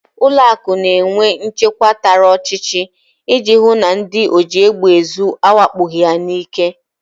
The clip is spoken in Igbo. Ụlọakụ na-enwe nchekwa tara ọchịchị iji hụ na ndị ojiegbeezu awakpoghị ha n'ike